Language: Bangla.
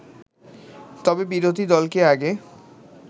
তবে বিরোধী দলকে আগে